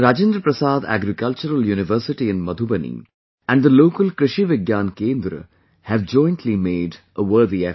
Rajendra Prasad Agricultural University in Madhubani and the local Krishi Vigyan Kendra have jointly made a worthy effort